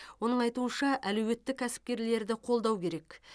оның айтуынша әлеуетті кәсіпкерлерді қолдау керек